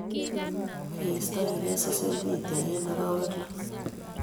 Ngeistoegei social media eng arawek lo.